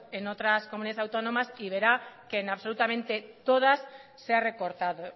en otras comunidades autónomas y verá que en absolutamente todas se ha recortado